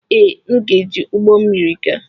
Ee, m ga-eji ụgbọ mmiri gaa.